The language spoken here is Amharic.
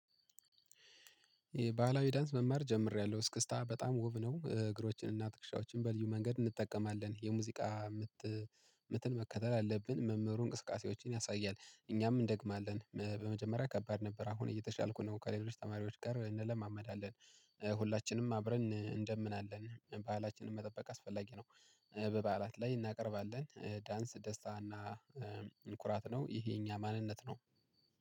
ባህላዊ ዳንስ መማር ጀምሬያለሁ እስክስታ በጣም ውብ ነው እግሮችን እና ትክሻዎችን በልዩ መንገድ እንጠቀማለን። የሙዚቃ ምት ምትን መከተል አለብን መምህሩ እንቅስቃሴዎችን ያሳያል እኛም እንደግማለን፣ በመጀመሪያ ከባድ ነበር አሁን እየተሻልኩ ነው፣ ከሌሎች ተማሪዎች ጋር እንለማመዳለን፣ ሁላችንም አብረን እንደምናለን ባህላችንን መጠበቅ አስፈላጊ ነው፣ በበዓላት ላይ እናቀርባለን ዳንስ ደስታ እና ኩራት ነው ይሄ እኛ ማንነት ነው።